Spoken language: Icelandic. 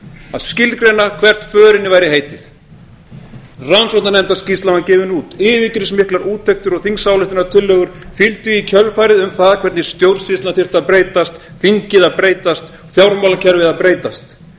að skilgreina hvert förinni væri árið rannsóknarnefndarskýrslan var gefin út yfirgripsmiklar úttektir og þingsályktunartillögur fylgdu í kjölfarið um það hvernig stjórnsýslan þyrfti að breytast þingið að breytast fjármálakerfið að breytast